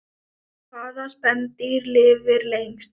Hvaða spendýr lifir lengst?